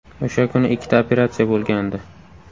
O‘sha kuni ikkita operatsiya bo‘lgandi.